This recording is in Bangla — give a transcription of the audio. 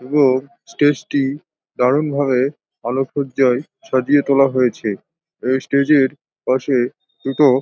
এবং স্টেজ -টি দারুণ ভাবে আলোক সজ্জায় সাজিয়ে তোলা হয়েছে এই স্টেজ -এর পাশে দুটো--